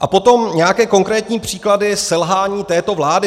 A potom nějaké konkrétní příklady selhání této vlády.